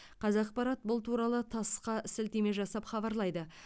қазақпарат бұл туралы тасс қа сілтеме жасап хабарлайды